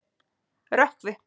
Rökkvi